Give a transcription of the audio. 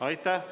Aitäh!